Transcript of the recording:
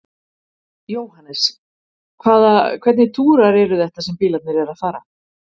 Jóhannes: Hvaða, hvernig túrar eru þetta sem að bílarnir eru að fara?